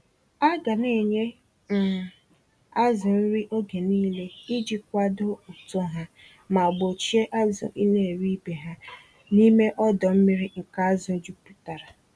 Aga nenye um azụ nri oge nile iji kwadoo uto ha, ma gbochie azụ ineri ibe ha, n'ime ọdọ-mmiri nke azụ juputara.